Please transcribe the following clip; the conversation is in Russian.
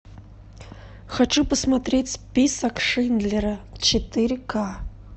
хочу посмотреть список шиндлера четыре ка